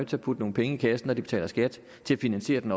til at putte nogle penge i kassen når de betaler skat til at finansiere den